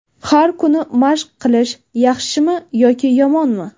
Har kuni mashq qilish: yaxshimi yoki yomonmi?.